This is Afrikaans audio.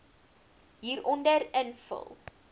hieronder invul